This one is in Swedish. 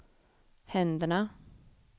händerna